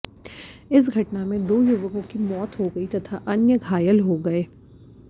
इस घटना में दो युवकों की मौत हो गई तथा अन्य घायल हो गए